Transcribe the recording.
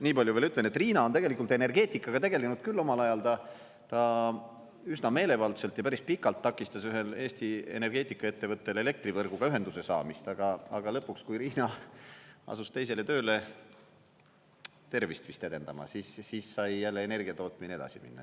Niipalju veel ütlen, et Riina on tegelikult energeetikaga tegelenud küll omal ajal, ta üsna meelevaldselt ja päris pikalt takistas ühel Eesti energeetikaettevõttel elektrivõrguga ühenduse saamist, aga lõpuks, kui Riina asus teisele tööle, tervist vist edendama, siis sai jälle energiatootmine edasi minna.